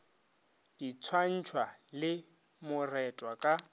di swantšhwa le moretwa ka